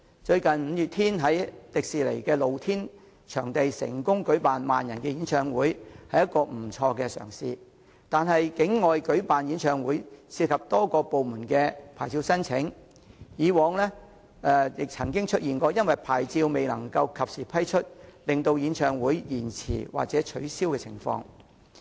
最近五月天樂團在香港迪士尼樂園的露天場地成功舉辦萬人演唱會，那是不錯的嘗試，但戶外舉辦演唱會涉及多個部門的牌照申請，過往亦曾出現因牌照未能及時批出而令演唱會延遲或取消的情況。